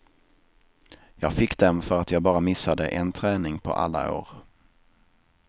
Jag fick dem för att jag bara missade en träning på alla år.